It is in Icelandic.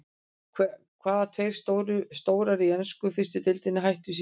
Hvaða tveir stjórar í ensku fyrstu deildinni hættu í síðustu viku?